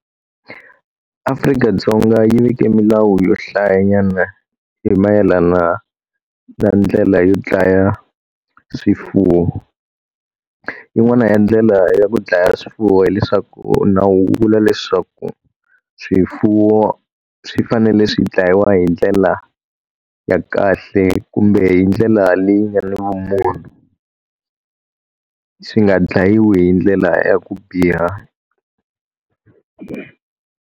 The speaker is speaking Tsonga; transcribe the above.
Afrika-Dzonga yi veke milawu yo hlayanyana hi mayelana na ndlela yo dlaya swifuwo. Yin'wana ya ndlela ya ku dlaya swifuwo hileswaku na wu vula leswaku, swifuwo swi fanele swi dlayiwa hi ndlela ya kahle kumbe hi ndlela leyi nga na vumunhu. Swi nga dlayiwi hi ndlela ya ku biha.